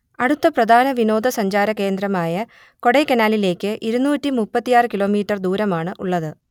അടുത്ത പ്രധാന വിനോദസഞ്ചാരകേന്ദ്രമായ കൊടൈക്കനാലിലേക്ക് ഇരുന്നൂറ്റി മുപ്പത്തിയാറ് കിലോമീറ്റർ ദൂരമാണ് ഉള്ളത്